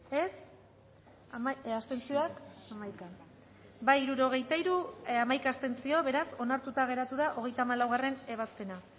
dezakegu bozketaren emaitza onako izan da hirurogeita hamalau eman dugu bozka hirurogeita hiru boto aldekoa hamaika abstentzio beraz onartuta geratu da hogeita hamalaugarrena ebazpena